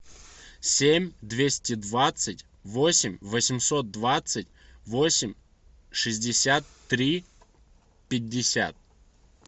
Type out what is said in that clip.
семь двести двадцать восемь восемьсот двадцать восемь шестьдесят три пятьдесят